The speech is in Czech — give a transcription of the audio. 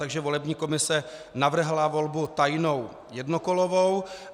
Takže volební komise navrhla volbu tajnou jednokolovou.